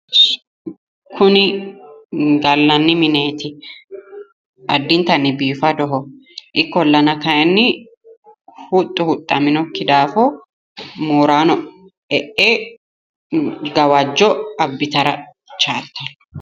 Kuni gallanni mineeti addintanni biifadoho ikkollana kayiinni huxxu huxxaminokki daafo moorano e"e gawajjo abbitara chaaltanno.